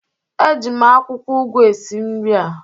Eji m akwụkwọ ụgụ esi nri a